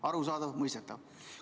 Arusaadav, mõistetav.